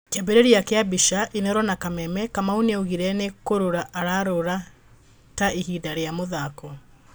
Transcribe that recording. Kíambíríria kía mbica, Inooro na Kameme, KamauNí augire ní kúrúra araúrúra tu ihinda ría muthako.